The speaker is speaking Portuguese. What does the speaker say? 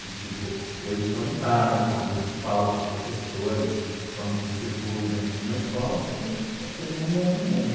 De tipo, eu estou em casa quando falo com professores, quando circulo dentro de uma escola, porque aquele mundo é meu mundo.